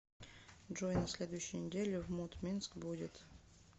джой на следующей неделе в мут минск будет